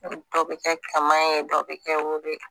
Dɔ bɛ kɛ kaman ye dɔ bɛ kɛ woro ye